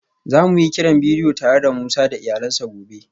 Za mu yi kiran bidiyo tare da Musa da iyalansa gobe